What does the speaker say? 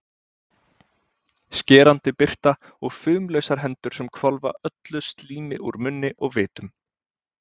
Skerandi birta og fumlausar hendur sem hvolfa öllu slími úr munni og vitum.